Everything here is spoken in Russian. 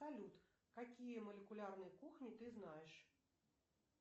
салют какие молекулярные кухни ты знаешь